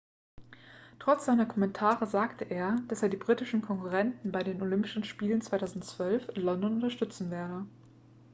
trotz seiner kommentare sagte er dass er die britischen konkurrenten bei den olympischen spielen 2012 in london unterstützen werde